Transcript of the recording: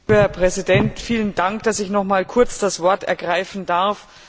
Herr Präsident! Vielen Dank, dass ich noch einmal kurz das Wort ergreifen darf.